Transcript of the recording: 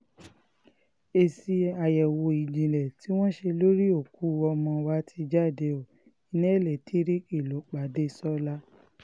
èsì àyẹ̀wò ìjìnlẹ̀ tí wọ́n ṣe lórí òkú ọmọ wa ti jáde ó iná elétíríìkì ló pa dẹ́sọ́là